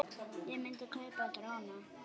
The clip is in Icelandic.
Ég myndi kaupa dróna.